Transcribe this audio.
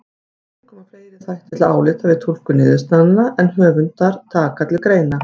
Þannig koma fleiri þættir til álita við túlkun niðurstaðnanna en höfundar taka til greina.